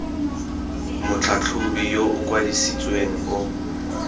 motlhatlhobi yo o kwadisitsweng o